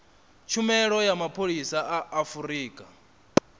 tshumelo ya mapholisa a afurika